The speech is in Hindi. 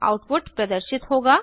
आउटपुट प्रदर्शित होगा